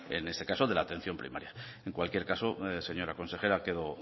en este caso de la atención primaria en cualquier caso señora consejera quedo